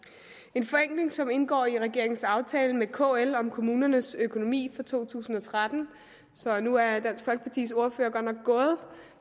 en forenkling som indgår i regeringens aftale med kl om kommunernes økonomi for to tusind og tretten nu er dansk folkepartis ordfører godt nok gået